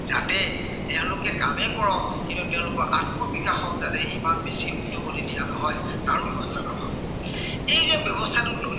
যাতে তেওঁলোকে কামে কৰক কিন্তু তেওঁলোকৰ আত্মবিকাশত ইমান বেছি উদগনি দিয়া নহয় আৰু ব্য়ৱস্থা নহয়। সেই যে ব্য়ৱস্থাটো ললে